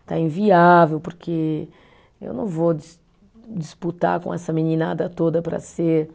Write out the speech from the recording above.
Está inviável, porque eu não vou dis disputar com essa meninada toda para ser,